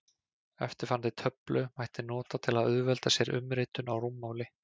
Eftirfarandi töflu mætti nota til að auðvelda sér umritun á rúmmáli.